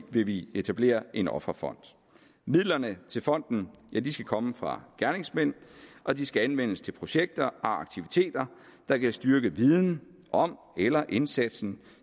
vil vi etablere en offerfond midlerne til fonden skal komme fra gerningsmænd og de skal anvendes til projekter og aktiviteter der kan styrke viden om eller indsatsen